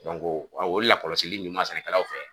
a o lakɔlɔsili ɲuman sɛnɛkɛlaw fɛ